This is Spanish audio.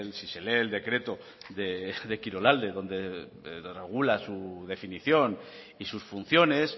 si se lee el decreto de kirolalde donde regula su definición y sus funciones